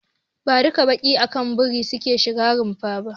Ba duka baƙi ake bari su shiga runfa ba.